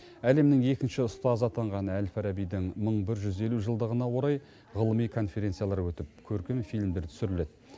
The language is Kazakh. әлемнің екінші ұстазы атанған әл фарабидің мың бір жүз елу жылдығына орай ғылыми конференциялар өтіп көркем фильмдер түсіріледі